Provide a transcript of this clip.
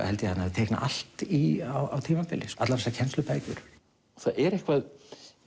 held ég hann hafi teiknað allt í á tímabili allar þessar kennslubækur það er eitthvað